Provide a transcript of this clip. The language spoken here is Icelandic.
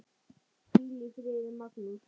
Hvíl í friði, Magnús.